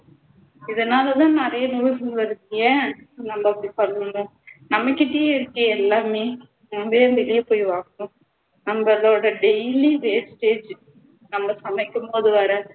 இதனால் தான் நிறைய நோய்கள் வருது ஏன் நம்ம இப்படி பண்ணணும் நம்மகிட்டயே இருக்கே எல்லாமே நம்ம ஏன் வெளிய போய் வாங்கணும் நம்மளோட daily wastage நம்ம சமைக்கும் போது வர்ற